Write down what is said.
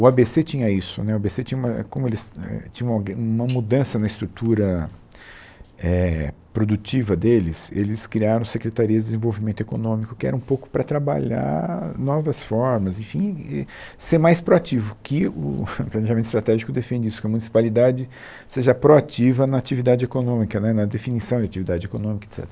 O á bê cê tinha isso né, o á bê cê tinha uma como eles eh tinham algue uma mudança na estrutura eh produtiva deles, eles criaram a Secretaria de Desenvolvimento Econômico, que era um pouco para trabalhar novas formas, enfim, e ser mais proativo, que o planejamento estratégico defende isso, que a municipalidade seja proativa na atividade econômica né, na definição de atividade econômica, et cetera.